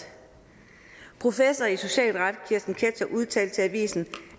professor i socialret kirsten ketscher udtalte til avisen